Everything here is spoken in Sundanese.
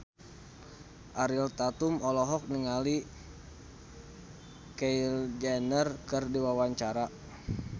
Ariel Tatum olohok ningali Kylie Jenner keur diwawancara